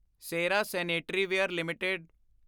Cera sanitaryware LTD